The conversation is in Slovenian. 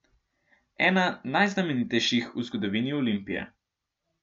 Ena najznamenitejših v zgodovini Olimpije.